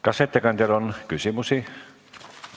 Kas ettekandjale on küsimusi?